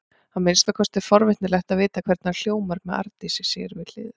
Að minnsta kosti er forvitnilegt að vita hvernig hann hljómar með Arndísi við hlið sér.